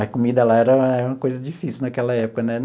A comida lá era era uma coisa difícil naquela época, né?